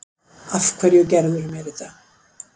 Af hverju gerðirðu mér þetta?